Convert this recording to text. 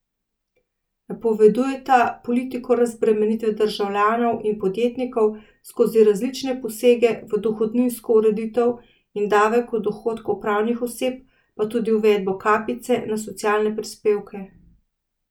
Napovedujeta politiko razbremenitve državljanov in podjetnikov skozi različne posege v dohodninsko ureditev in davek od dohodkov pravnih oseb, pa tudi uvedbo kapice na socialne prispevke.